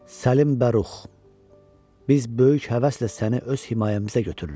Səlim Bərux, biz böyük həvəslə səni öz himayəmizə gətiririk.